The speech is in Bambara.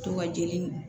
To ka jeli